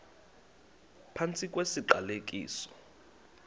phantsi kwesi siqalekiso